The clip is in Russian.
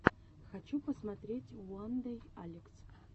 хочу посмотреть уандэйалекс